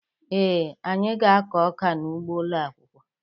Ee, anyị ga-akụ ọka n'ugbo ụlọ akwụkwọ